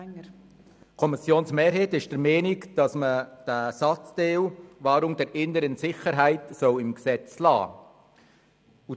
der SiK. Die Kommissionsmehrheit ist der Meinung, dass man den Satzteil «Wahrung der inneren Sicherheit» im Gesetz belässt;